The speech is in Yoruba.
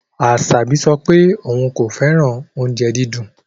Asabi sọ pe oun ko fẹran ounjẹ didin